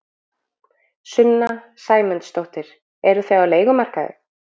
Sunna Sæmundsdóttir: Eruð þið á leigumarkaði?